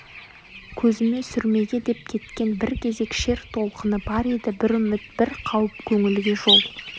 көзіме сүрмеге деп кеткен бір кезек шер толқыны бар еді бір үміт бір қауіп көңілге жол